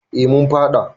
eh mun faɗa